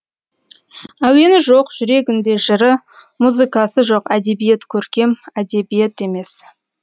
әуені жоқ жүрегінде жыры музыкасы жоқ әдебиет көркем әдебиет емес